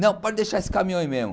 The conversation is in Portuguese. Não, pode deixar esse caminhão aí mesmo.